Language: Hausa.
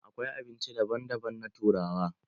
Akwai abinci daban daban na turawa.